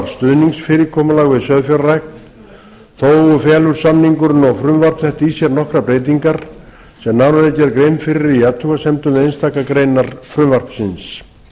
stuðningsfyrirkomulag við sauðfjárrækt þó felur samningurinn og frumvarp þetta í sér nokkrar breytingar sem nánar verður gerð grein fyrir í athugasemdum við einstakar greinar frumvarpsins